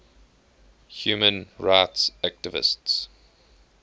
human rights activists